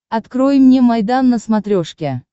открой мне майдан на смотрешке